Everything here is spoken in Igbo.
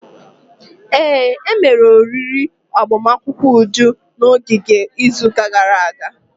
Ee, emere oriri agbamakwụkwọ Uju na ogige izuụka gara aga.